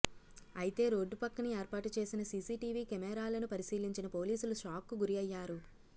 అయితే రోడ్డు పక్కన ఏర్పాటు చేసిన సీసీటీవీ కెమెరాలను పరిశీలించిన పోలీసులు షాక్ కు గురైనారు